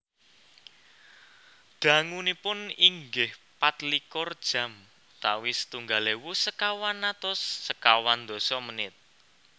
Dangunipun inggih patlikur jam utawi setunggal ewu sekawan atus sekawan dasa menit